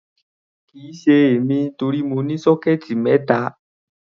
Kì í ṣe èmi, torí mo ní sọ́kẹ́ẹ̀tì mẹ́ta.